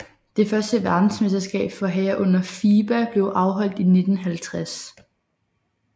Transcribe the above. Det første verdensmesterskab for herrer under FIBA blev afholdt i 1950